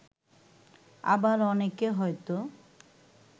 আবার অনেকে হয়তো